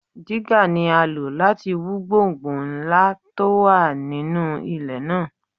Jígà ni á lò láti wú gbọ̀ǹgbọ̀ǹ ńlá tó wà nínú ilẹ̀ náà.